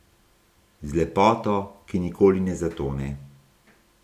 Z lepoto, ki nikoli ne zatone.